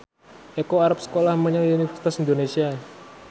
Eko arep sekolah menyang Universitas Indonesia